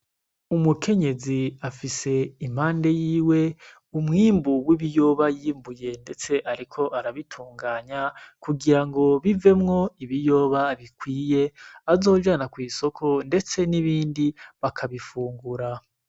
Umukenyezi afise impande yiwe umwimbu w'ibiyoba yimbuye, ndetse ariko arabitunganya kugira ngo bivemwo ibiyoba bikwiye azojana kw'isoko, ndetse n'ibindi bakabifungura.